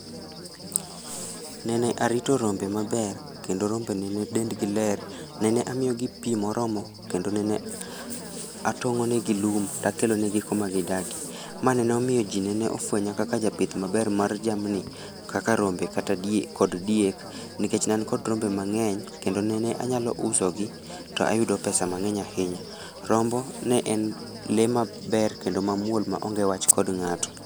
Nene arito rombe maber kendo rombe nene dendgi ler, nene amiyogi pi moromo kendo nene atong'onegi lum takelonegi kuma gidakie. Ma nene omiyo ji nene ofwenya kaka japith maber mar jamni kaka rombe kod diek nikech ne an kod rombe mang'eny kendo nene anyalo usogi to ayudo pesa mang'eny ahinya. Rombo ne en lee maber kendo mamuol maonge wach kod ng'ato.